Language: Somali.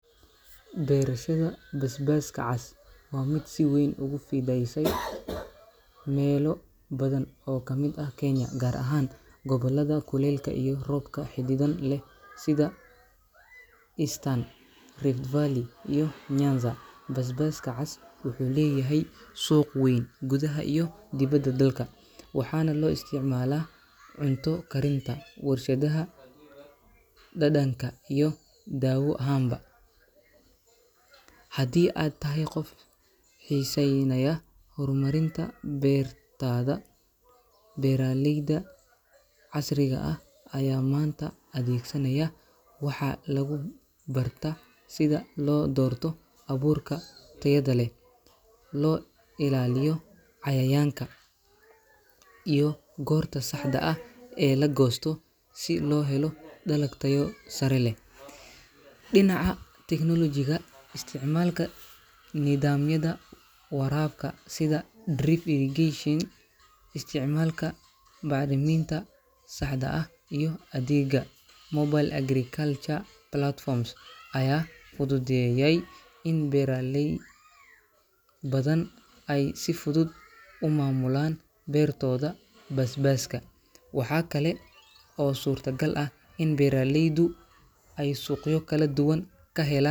Beerashada basbaaska cas waa mid si weyn ugu fidaysay meelo badan oo ka mid ah Kenya, gaar ahaan gobollada kuleylka iyo roobka xadidan leh sida Eastern, Rift Valley, iyo Nyanza. Basbaaska cas wuxuu leeyahay suuq weyn gudaha iyo dibadda dalka, waxaana loo isticmaalaa cunto karinta, warshadaha dhadhanka, iyo dawo ahaanba. Haddii aad tahay qof xiisaynaya horumarinta beertaada, beeraleyda casriga ah ayaa maanta adeegsanaya educational tababaro iyo barnaamijyo lagu barto hababka ugu wanaagsan ee korinta basbaaska cas. Waxaa lagu barta sida loo doorto abuurka tayada leh, loo ilaaliyo cayayaanka, iyo goorta saxda ah ee la goosto si loo helo dalag tayo sare leh. Dhinaca technology-ga, isticmaalka nidaamyada waraabka sida drip irrigation, isticmaalka bacriminta saxda ah, iyo adeegga mobile agriculture platforms ayaa fududeeyay in beeraley badan ay si fudud u maamulaan beertooda basbaaska. Waxa kale oo suurtagal ah in beeraleydu ay suuqyo kala duwan ka hela.